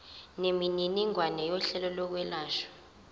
nemininingwane yohlelo lokwelashwa